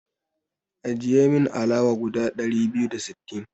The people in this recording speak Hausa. Ajiye min alawa guda ɗari biyu da sittin.